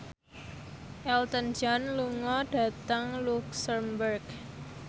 Elton John lunga dhateng luxemburg